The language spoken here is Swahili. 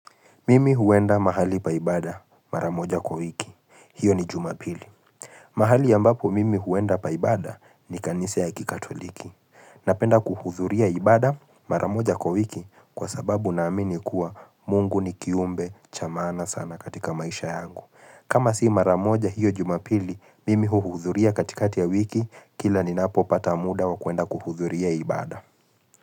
Mimi huenda mahali paibada maramoja kwa wiki, hiyo ni jumapili. Mahali ambapo mimi huenda paibada ni kanise ya kikatoliki. Napenda kuhudhuria ibada maramoja kwa wiki kwa sababu naamini kuwa mungu ni kiumbe chamaana sana katika maisha yangu. Kama si maramoja hiyo jumapili mimi hudhuria katikati ya wiki kila ninapo pata muda wa kuenda kuhudhuria ibada.